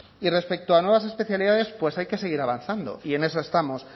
y respecto a nuevas especialidades pues hay que seguir avanzando y en eso estamos